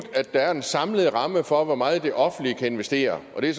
at der er en samlet ramme for hvor meget det offentlige kan investere og det